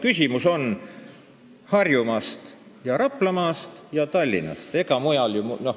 Küsimus on Harjumaas, Raplamaas ja Tallinnas.